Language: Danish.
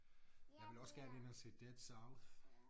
Jeg ville også gerne ind og se Dead South